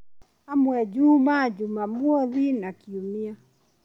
Amwe Jumaa, Jumamwothi na Kiumia